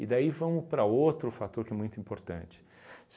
E daí vamos para outro fator que é muito importante.